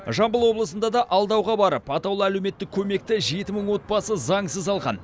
жамбыл облысында да алдауға барып атаулы әлеуметтік көмекті жеті мың отбасы заңсыз алған